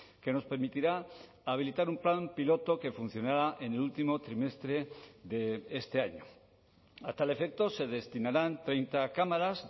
que nos permitirá habilitar un plan piloto que funcionará en el último trimestre de este año a tal efecto se destinarán treinta cámaras